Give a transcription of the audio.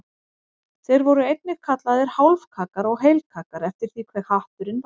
Þeir voru einnig kallaðir hálfkaggar og heilkaggar eftir því hve hatturinn var hár.